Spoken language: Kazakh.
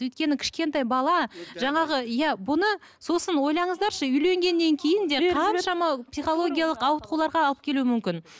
өйткені кішкентай бала жаңағы иә бұны сосын ойлаңыздаршы үйленгеннен кейін де қаншама психологиялық ауытқуларға алып келуі мүмкін